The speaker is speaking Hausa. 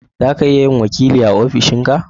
zaka iya yin wakili a ofishin ka